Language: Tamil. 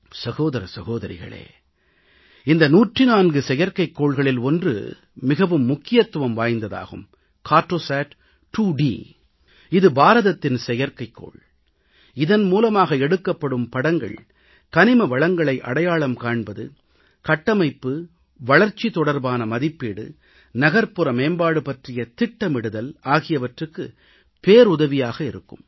சகோதர சகோதரிகளே இந்த 104 செயற்கைகோள்களில் ஒன்று மிகவும் முக்கியத்துவம் வாய்ந்ததாகும் கார்ட்டோசாட் 2 டி இது பாரதத்தின் செயற்கைகோள் இதன் மூலமாக எடுக்கப்படும் படங்கள் கனிம வளங்களை அடையாளம் காண்பது கட்டமைப்பு வளர்ச்சி தொடர்பான மதிப்பீடு நகர்ப்புற மேம்பாடு பற்றிய திட்டமிடுதல் ஆகியவற்றுக்குப் பேருதவியாக இருக்கும்